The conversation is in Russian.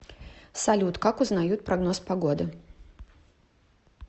салют как узнают прогноз погоды